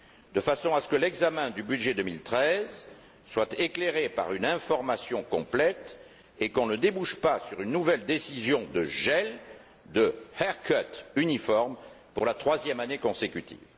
De façon à ce que l'examen du budget 2013 soit éclairé par une information complète et qu'on ne débouche pas sur une nouvelle décision de gel, de toilettage uniforme pour la troisième année consécutive.